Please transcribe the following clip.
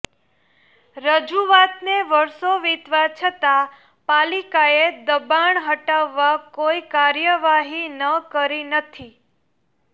રજૂઆતને વર્ષો વિતવા છતાં પાલિકાએ દબાણ હટાવવા કોઈ કાર્યવાહી ન કરી નથી